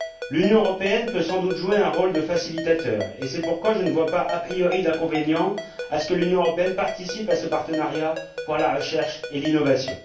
L'Union européenne peut sans doute jouer un rôle de facilitateur et c'est pourquoi je ne vois pas a priori d'inconvénient à ce que l'Union européenne participe à ce partenariat pour la recherche et l'innovation.